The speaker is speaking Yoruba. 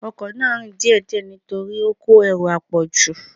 Ọkọ náà ń rìn díè díè nítorí ó kó ẹrù àpọ̀jù.